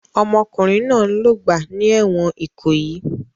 Ọmọkùnrin náà ń lògbà ní ẹ̀wọ̀n Ìkòyí.